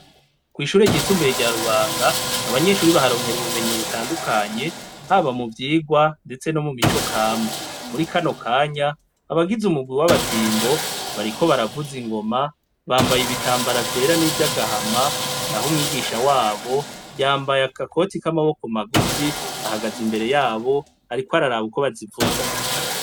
Kw'ishure ryisumbuye rya Rubanga, abanyeshure baharonkera ubumenyi butandukanye, haba mu vyigwa, ndetse no mu mico kama. Muri kano kanya, abagize umugwi w'abatimbo, bariko baravuza ingoma. Bambaye ibitambara vyera n'ivy'agahama; naho umwigisha wabo, yambaye agakoti k'amaboko magufi, ahagaze imbere y'abo ariko araraba uko bazivuza.